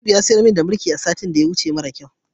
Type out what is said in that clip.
Najib ya siyar mani da birki maran kyau a satin da ya wuce.